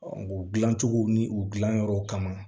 o dilancogo ni u dilanyɔrɔ kama